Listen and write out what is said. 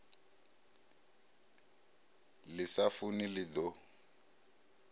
ḽi sa funi ḽi ḓo